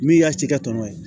Min y'a cikɛ tɔmɔnen